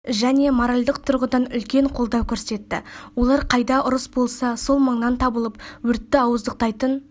және моральдық тұрғыдан үлкен қолдау көрсетті олар қайда ұрыс болса сол маңнан табылып өртті ауыздықтайтын